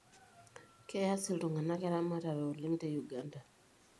Keas iltung'ana eramatare oleng te Uganda